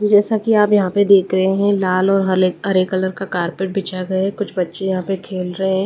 जैसा कि आप यहां पे देख रहे हैंलाल और हले हरे कलर का कारपेट बिछा गया है कुछ बच्चे यहां पे खेल रहे हैं।